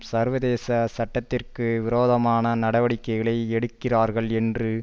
சர்வதேச சட்டத்திற்கு விரோதமான நடவடிக்கைகளை எடுக்கிறார்கள் என்று